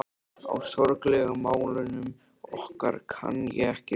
Á sorglegu málunum okkar kann ég ekki skil.